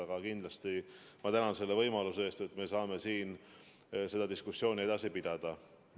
Aga kindlasti ma tänan võimaluse eest, et me saame siin seda diskussiooni edasi pidada.